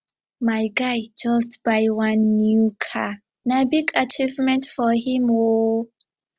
my guy just buy one new car na big achievement for him o